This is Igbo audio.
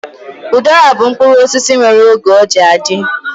Udara bụ mkpụrụ osisi nwere oge ọ ji adị